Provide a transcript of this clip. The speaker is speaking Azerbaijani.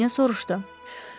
Qrafinya soruşdu.